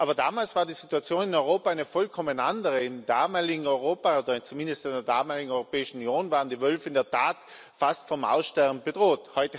Aber damals war die Situation in Europa eine vollkommen andere Im damaligen Europa oder zumindest in der damaligen Europäischen Union waren die Wölfe in der Tat fast vom Aussterben bedroht.